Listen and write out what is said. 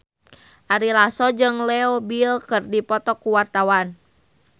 Ari Lasso jeung Leo Bill keur dipoto ku wartawan